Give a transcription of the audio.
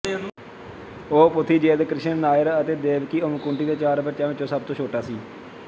ਉਹ ਪੁਥੀਯੇਦ ਕ੍ਰਿਸ਼ਣਨ ਨਾਇਰ ਅਤੇ ਦੇਵਕੀ ਅੰਮੁਕੁੱਟੀ ਦੇ ਚਾਰ ਬੱਚਿਆਂ ਵਿਚੋਂ ਸਭ ਤੋਂ ਛੋਟਾ ਸੀ